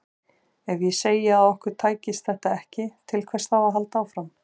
Ef ég segði að okkur tækist þetta ekki, til hvers þá að halda áfram?